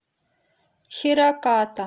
хираката